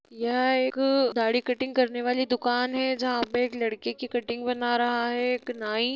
यह एक दाढ़ी कटिंग करने वाली दुकान है जहां पे एक लड़के की कटिंग बना रहा है एक नाई।